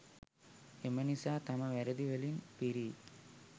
එම නිසා තම වැරදි වලින් පිරි